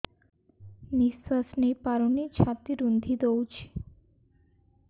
ନିଶ୍ୱାସ ନେଇପାରୁନି ଛାତି ରୁନ୍ଧି ଦଉଛି